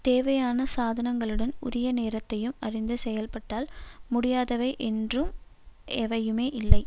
தேவையான சாதனங்களுடன் உரிய நேரத்தையும் அறிந்து செயல்பட்டால் முடியாதவை என்றும் எவையுமே இல்லை